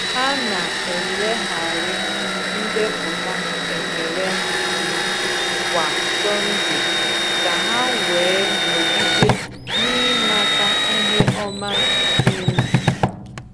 Ha na-elegharị ndepụta ekele ha anya kwa Sọnde ka ha wee nọgide n’ịmata ihe ọma dị ndụ.